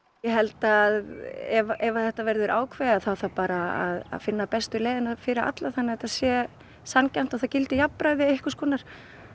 ég held að ef þetta verður ákveðið þá þarf bara að finna bestu leiðina fyrir alla þannig að þetta sé sanngjarnt og það gildi jafnræði einhvers konar